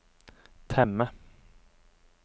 temme